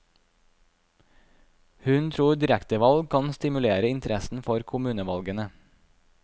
Hun tror direktevalg kan stimulere interessen for kommunevalgene.